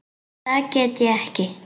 Það get ég ekki